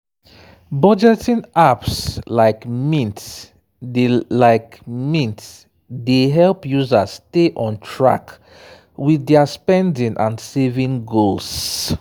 budgeting apps like mint dey like mint dey help users stay on track with their spending and saving goals.